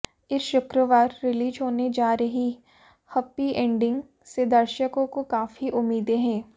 इस शुक्रवार रिलीज होने जा रही हैप्पी एंडिंग से दर्शकों को काफी उम्मीदें हैं